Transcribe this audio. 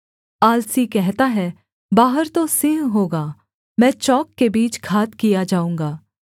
आलसी कहता है बाहर तो सिंह होगा मैं चौक के बीच घात किया जाऊँगा